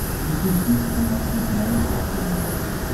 включи симпсонов на канале дважды два